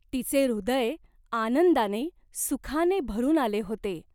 तिचे हृदय आनंदाने, सुखाने भरून आले होते.